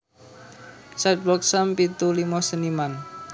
Sidewalk Sam pitu limo seniman